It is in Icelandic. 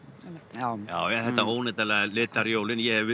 já já já þetta óneitanlega litar jólin ég hef